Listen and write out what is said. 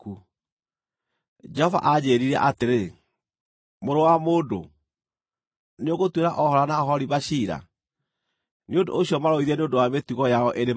Jehova aanjĩĩrire atĩrĩ: Mũrũ wa mũndũ, nĩũgũtuĩra Ohola na Oholiba ciira? Nĩ ũndũ ũcio marũithie nĩ ũndũ wa mĩtugo yao ĩrĩ magigi,